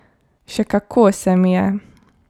Še kako se mi je.